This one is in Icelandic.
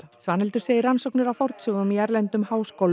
Svanhildur segir rannsóknir á fornsögum í erlendum háskólum